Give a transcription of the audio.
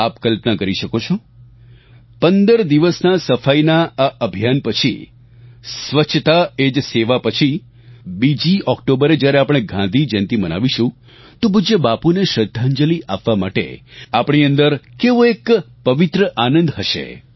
આપ કલ્પના કરી શકો છો 15 દિવસના સફાઈના આ અભિયાન પછી સ્વચ્છતા એ જ સેવા પછી 2જી ઓક્ટોબરે જ્યારે આપણે ગાંધીજયંતી મનાવીશું તો પૂજ્ય બાપૂને શ્રદ્ધાંજલિ આપવા માટે આપણી અંદર કેવો એક પવિત્ર આનંદ હશે